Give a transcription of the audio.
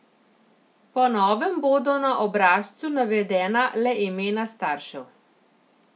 Po novem bodo na obrazcu navedena le imena staršev.